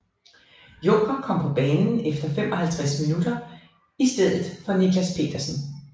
Junker kom på banen efter 55 minutter i stedet for Nicklas Pedersen